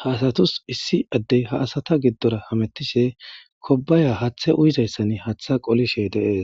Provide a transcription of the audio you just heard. ha asatus issi addey ha asata giddora hamettishe kobaya hathe uyizayssan hatha qolishe de'ees